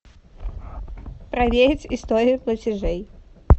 проверить историю платежей